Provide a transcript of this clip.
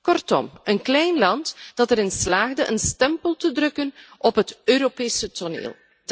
Kortom, een klein land dat erin slaagde een stempel te drukken op het Europese toneel.